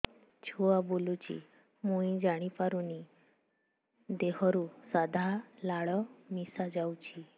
ଛୁଆ ବୁଲୁଚି ମୁଇ ଜାଣିପାରୁନି ଦେହରୁ ସାଧା ଲାଳ ମିଶା ଯାଉଚି